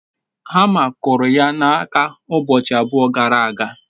hama kuru ya n'aka ubochi abua gara aga